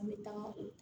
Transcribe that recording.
An bɛ taama